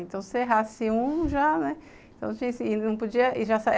Então, se errasse um já, né?